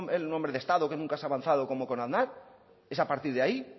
el hombre de estado que nunca se ha avanzado como con aznar es a partir de ahí